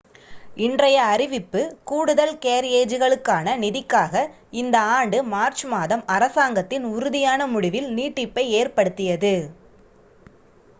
இன்றைய அறிவிப்பு கூடுதல் கேரியேஜுகளுக்கான நிதிக்காக இந்த ஆண்டு மார்ச் மாதம் அரசாங்கத்தின் உறுதியான முடிவில் நீட்டிப்பை ஏற்படுத்தியது